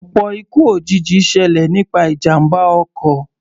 Ọ̀pọ̀ ikú òjijì ṣẹlẹ̀ nípa ìjàmbá ọkọ̀.